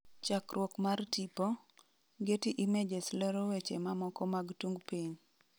chakruok mar tipo, getty images lewro weche mamoko mag tung piny